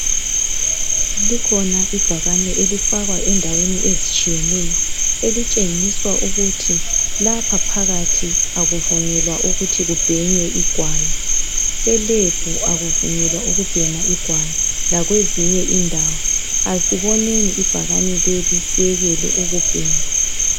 Likhona ibhakane elifakwa endaweni ezitshiyeneyo elitshengisa ukuthi lapha phakathi akuvunyelwa ukuthi kubhenywe igwayi. ELab akuvunyelwa ukuthi kubhenywe igwayi lakwezinye indawo. Asiboneni ibhakane leli siyekele ukubhema